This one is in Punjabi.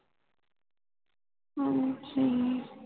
ਹਾਂਜੀ